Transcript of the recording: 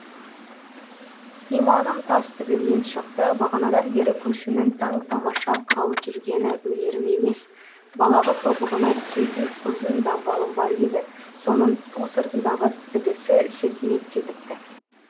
иманым тас төбемнен шықты бағанадан бері көршімнің таң тамаша қалып жүргені өнерім емес балағы тобығына түсетін ұзын дамбалым бар еді соның ту сыртындағы тігісі сетінеп кетіпті